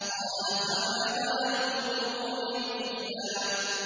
قَالَ فَمَا بَالُ الْقُرُونِ الْأُولَىٰ